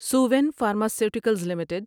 Suven pharmaceuticals limited